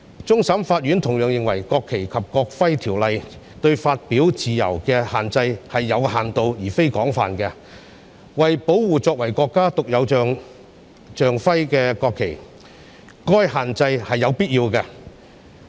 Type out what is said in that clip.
終審法院同樣認為，《國旗及國徽條例》對發表自由的限制是有限度而非廣泛的，為保護作為國家獨有象徵的國旗，該限制是有必要的。